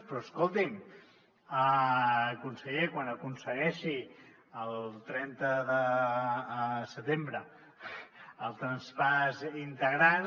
però escolti’m conseller quan aconsegueixi el trenta de setembre el traspàs integral